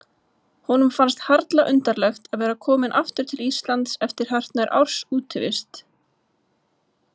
Honum fannst harla undarlegt að vera kominn aftur til Íslands eftir hartnær árs útivist.